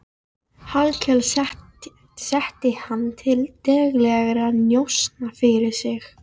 Hallkel setti hann til daglegra njósna fyrir sig.